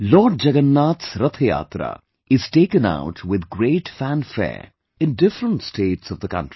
Lord Jagannath's Rath Yatra is taken out with great fanfare in different states of the country